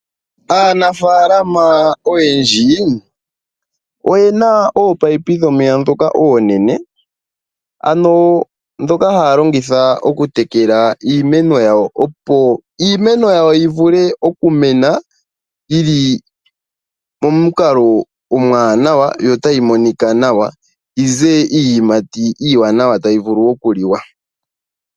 Aanafalama oyendji oyena ominino dhomeya dhoka oonene, dhoka haya longitha okutekela iimeno yawo. Opo iimeno yawo yi vule okumena yili momukalo omwaanawa, yo tayi monika nawa yi ze iiyimati iiwanawa tayi vulu okuliwa.